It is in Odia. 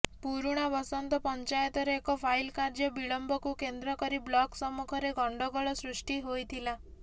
ପୁରୁଣାବସନ୍ତ ପଂଚାୟତର ଏକ ଫାଇଲ କାର୍ଯ୍ୟ ବିଳମ୍ବକୁ କେନ୍ଦ୍ର କରି ବ୍ଲକ୍ ସମ୍ମୁଖରେ ଗଣ୍ଡଗୋଳ ସୃଷ୍ଟି ହୋଇଥିଲା